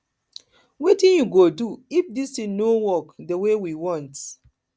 wetin we go do if dis thing no work the way work the way we want